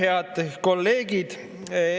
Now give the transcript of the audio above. Head kolleegid!